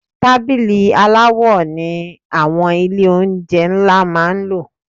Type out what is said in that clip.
Tábìlì aláwo ni àwọn ilé oúnjẹ ńlá máa ń lò.